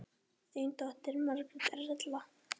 Þín dóttir, Margrét Erla.